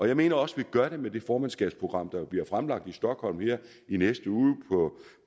jeg mener også vi gør det med det formandskabsprogram der bliver fremlagt i stockholm her i næste uge